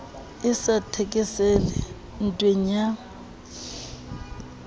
e sa thekeseleng ntweng ya